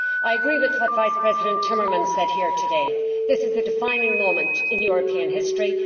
I agree with what Vice President Timmermans said here today this is a defining moment in European history.